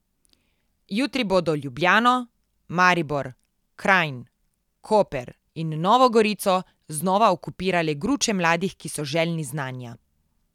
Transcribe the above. Jutri bodo Ljubljano, Maribor, Kranj, Koper in Novo Gorico znova okupirale gruče mladih, ki so željni znanja.